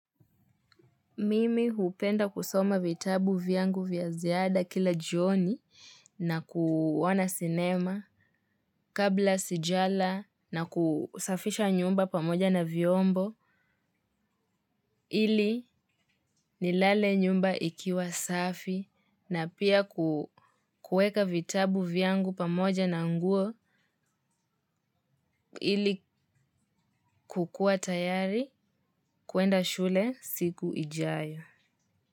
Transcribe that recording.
Mimi hupenda kusoma vitabu vyangu vya ziada kila jioni na kuona sinema kabla sijala na kusafisha nyumba pamoja na viombo. Ili nilale nyumba ikiwa safi na pia kuweka vitabu vyangu pamoja na nguo ili kukua tayari kuenda shule siku ijayo.